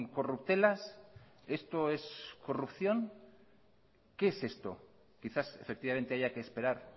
corruptelas esto es corrupción qué es esto quizás efectivamente haya que esperar